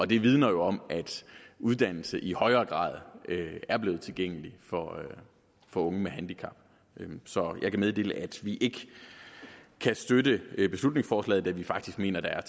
det vidner jo om at uddannelse i højere grad er blevet tilgængelig for unge med handicap så jeg kan meddele at vi ikke kan støtte beslutningsforslaget da vi faktisk mener at der er